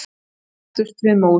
Svo settumst við móð.